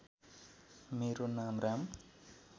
मेरो नाम राम